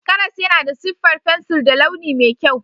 Karas yana da siffar fensir da launi mai kyau.